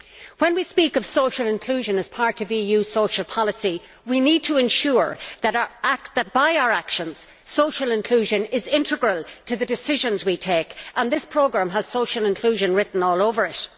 When we speak of social inclusion as part of EU social policy, we need to ensure that, by our actions, social inclusion is integral to the decisions we take, and this programme has social inclusion written all over it.